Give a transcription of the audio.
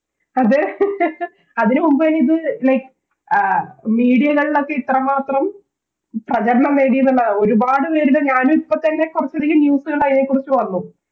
അത് അതിനു മുൻപ്വരെ ഇത് Like media കളിൽ ഒക്കെ ഇത്ര മാത്രം പ്രചരണം നേടിയെന്നുള്ളതാണ് ഒരുപാടുപേരുടെ ഞാനും ഇപ്പത്തന്നെ പുറത്തിറങ്ങി News കണ്ട് അയിനെക്കുറിച്ച് വന്നു